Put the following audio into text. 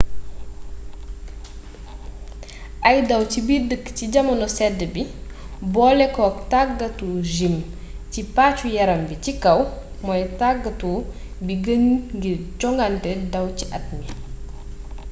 ay daw ci biir dëkk ci jamono sedd bi boolekook tàggatu gim ci pàccu yaram bi ci kaw mooy tàggatu bi gën ngir jongante daw ci at mi